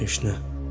Heç nə.